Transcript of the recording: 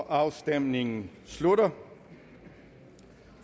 afstemningen slutter